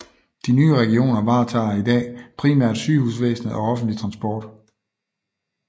De nye regioner varetager i dag primært sygehusvæsenet og offentlig transport